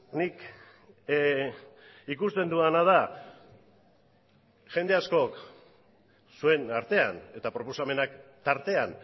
nik ikusten dudana da jende askok zuen artean eta proposamenak tartean